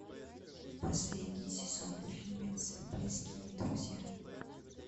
последний сезон фильмец близкие друзья